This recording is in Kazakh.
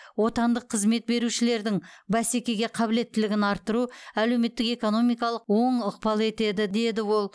отандық қызмет берушілердің бәсекеге қабілеттілігін арттыру әлеуметтік экономикалық оң ықпал етеді деді ол